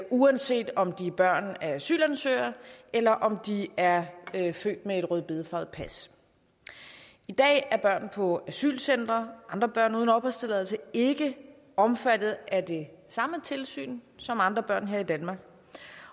uanset om de er børn af asylansøgere eller om de er født med et rødbedefarvet pas i dag er børn på asylcentre og andre børn uden opholdstilladelse ikke omfattet af det samme tilsyn som andre børn her i danmark